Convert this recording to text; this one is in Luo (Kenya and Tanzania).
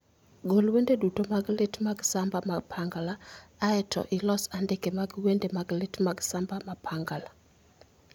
Gol wende duto mag lit mag samba mapangala aeto ilos andike mar wende mag lit mag samba mapangala